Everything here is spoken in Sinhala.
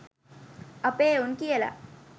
අපේ එවුන් කියල.